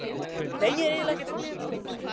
Nei, ég er eiginlega ekkert svangur.